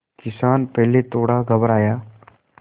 किसान पहले थोड़ा घबराया